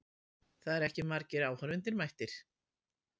Það eru ekki margir áhorfendur mættir.